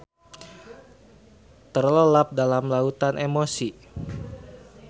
Terlelap dalam lautan emosi.